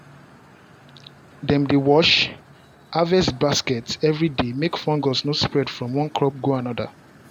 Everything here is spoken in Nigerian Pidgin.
dem dey wash harvest basket every day make fungus no spread from one crop go another.